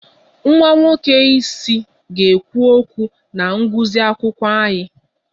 Nwa nwoke isi ga-ekwu okwu na ngụsị akwụkwọ anyị